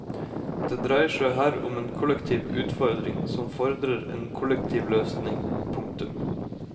Det dreier seg her om en kollektiv utfordring som fordrer en kollektiv løsning. punktum